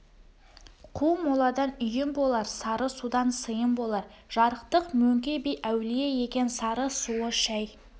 қу моладан үйің болар сары судан сыйың болар жарықтық мөңке би әулие екен сары суы шай